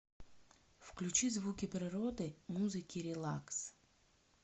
включи звуки природы музыки релакс